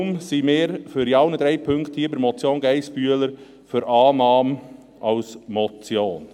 Deshalb sind wir in allen drei Punkten der Motion Geissbühler für Annahme als Motion.